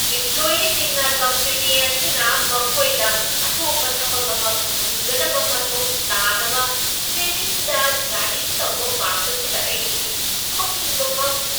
ꯏꯝꯄ꯭ꯂꯣꯏꯌꯤꯁꯤꯡꯅ company ꯑꯁꯤꯅ ꯃꯈꯣꯏꯗ ꯑꯇꯣꯞꯄ ꯊꯕꯛ ꯑꯃ ꯐꯪꯍꯟꯒꯗꯕ ꯃꯊꯧ ꯇꯥꯗꯕ ꯇ꯭ꯔꯦꯅꯤꯡꯗ ꯆꯥꯗꯤꯡ ꯇꯧꯕ ꯄꯥꯝꯕꯁꯤꯗ ꯑꯩ ꯁꯥꯎꯅꯤꯡꯕ ꯐꯥꯎꯈꯤ꯫